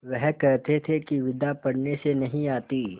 वह कहते थे कि विद्या पढ़ने से नहीं आती